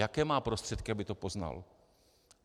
Jaké má prostředky, aby to poznal?